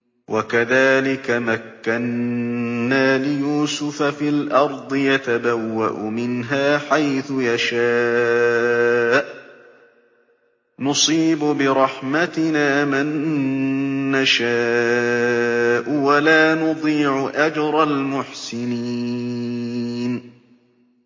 وَكَذَٰلِكَ مَكَّنَّا لِيُوسُفَ فِي الْأَرْضِ يَتَبَوَّأُ مِنْهَا حَيْثُ يَشَاءُ ۚ نُصِيبُ بِرَحْمَتِنَا مَن نَّشَاءُ ۖ وَلَا نُضِيعُ أَجْرَ الْمُحْسِنِينَ